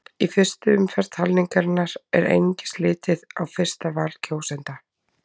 Í fyrstu umferð talningarinnar er einungis litið á fyrsta val kjósenda.